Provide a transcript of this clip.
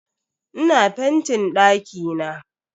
Ina fentin dakina.